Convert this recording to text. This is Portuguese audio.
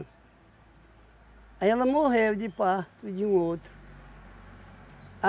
Aí ela morreu de parto de um outro.